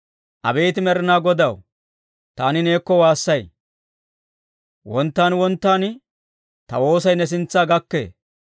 Abeet Med'inaa Godaw, taani neekko waassay; wonttaan wonttaan ta woosay ne sintsa gakkee.